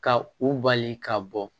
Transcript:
Ka u bali ka bɔ